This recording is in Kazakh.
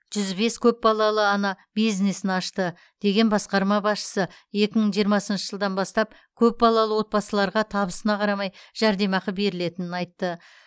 жүз бес көпбалалы ана бизнесін ашты деген басқарма басшысы екі мың жиырмасыншы жылдан бастап көпбалалы отбасыларға табысына қарамай жәрдемақы берілетінін айтты